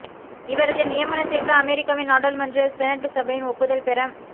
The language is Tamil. இவரது நியமனத்திற்கு அமெரிக்காவின் நாடாளுமன்ற செனட் சபையின் ஒப்புதல்பெற